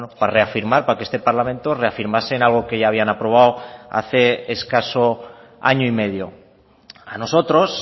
para reafirmar para que este parlamento reafirmase en algo que ya habían aprobado hace escaso año y medio a nosotros